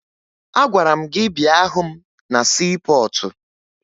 Agwara m gị bịa hụ m na siipọọtụ!